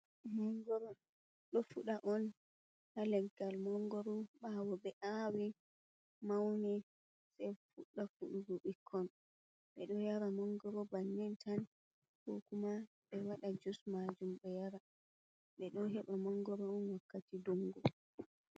Monngoro ɗo fuɗa on haa leggal mangoro, ɓaawo ɓe aawi mawni sey fuɗɗa fuɗugo bikkon ɓe ɗo yara mangoro bannii tan, koo kuma ɓe waɗa jus maajum ɓe yara, ɓe ɗo heɓa mongoro on wakkati ndungu.